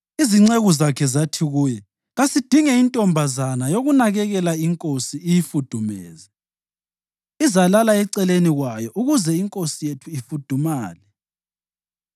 Izinceku zakhe zathi kuye, “Kasidinge intombazana yokunakekela inkosi iyifudumeze. Izalala eceleni kwayo ukuze inkosi yethu ifudumale.”